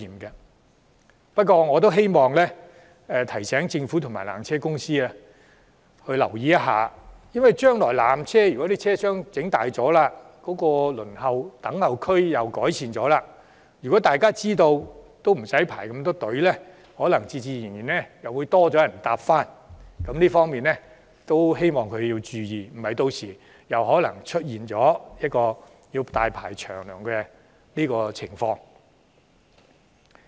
可是，我得提醒政府及纜車公司必須注意一點，就是將來當纜車車廂加大及改善輪候區設施後，當大家知道無須再排隊時，人流很可能會增加，故希望他們做好準備，以免屆時再度出現大排長龍的情況。